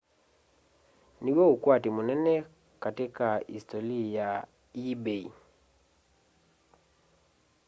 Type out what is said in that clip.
nĩ wo ukwatĩ munene kati ka isitoli ya ebay